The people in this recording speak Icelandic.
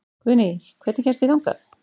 Guðný, hvernig kemst ég þangað?